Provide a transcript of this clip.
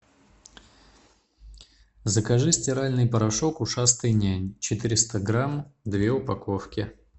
закажи стиральный порошок ушастый нянь четыреста грамм две упаковки